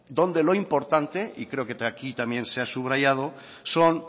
donde lo importante y creo que aquí también se ha subrayado son